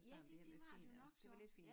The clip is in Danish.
Ja det det var det jo nok så ja